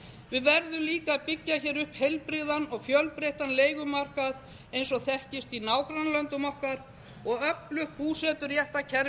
við verðum líka að byggja hér upp heilbrigðan og fjölbreyttan leigumarkað eins og þekkist í nágrannalöndum okkar og öflugt búseturéttarkerfi þannig að allir